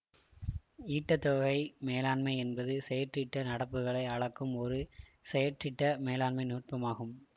ஈட்டத் தொகை மேலாண்மை என்பது செயற்றிட்ட நடப்புகளை அளக்கும் ஒரு செயற்றிட்ட மேலாண்மை நுட்பமாகும்